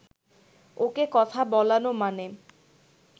ওকে কথা বলানো মানে